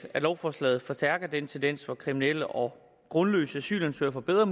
lovforslaget forstærker den tendens at kriminelle og grundløse asylansøgere får bedre